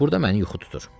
Burada məni yuxu tutur.